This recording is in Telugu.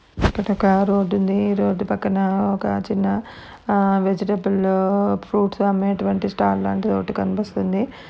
ఇక్కడ ఒక రోడ్డు ఉంది రోడ్డు పక్కన ఒక చిన్న ఆ వెజిటేబులు ఫ్రూట్స్ అమ్మేటువంటి స్టాండ్ అలాంటి ఓటి కనిపిస్తుంది.